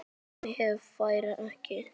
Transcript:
En hún fer ekki.